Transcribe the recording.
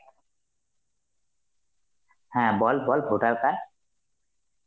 হ্যাঁ বল বল voter card